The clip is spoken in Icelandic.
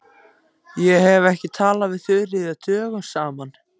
Ég hef ekki talað við Þuríði dögum saman.